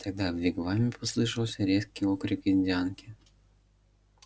тогда в вигваме послышался резкий окрик индианки